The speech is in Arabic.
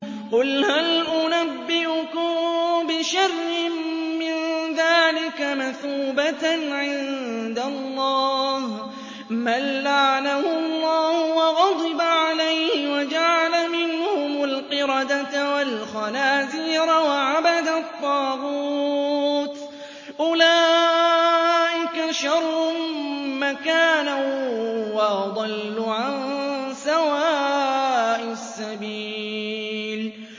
قُلْ هَلْ أُنَبِّئُكُم بِشَرٍّ مِّن ذَٰلِكَ مَثُوبَةً عِندَ اللَّهِ ۚ مَن لَّعَنَهُ اللَّهُ وَغَضِبَ عَلَيْهِ وَجَعَلَ مِنْهُمُ الْقِرَدَةَ وَالْخَنَازِيرَ وَعَبَدَ الطَّاغُوتَ ۚ أُولَٰئِكَ شَرٌّ مَّكَانًا وَأَضَلُّ عَن سَوَاءِ السَّبِيلِ